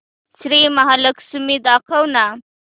श्री महालक्ष्मी दाखव ना